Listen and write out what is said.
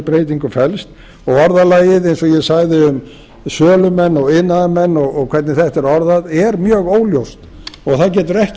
breytingu felst og orðalagið eins og ég sagði um sölumenn og iðnaðarmenn og hvernig þetta er orðað er mjög óljóst og það getur ekki